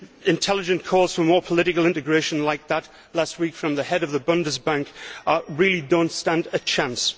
Intelligent calls for more political integration, like that last week from the head of the German Bundesbank, really do not stand a chance.